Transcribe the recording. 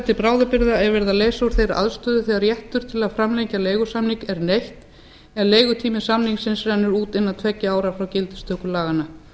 til bráðabirgða er verið að leysa úr þeirri aðstöðu þegar réttar til að framlengja leigusamning er neytt en leigutími samningsins rennur út innan tveggja ára frá gildistöku laganna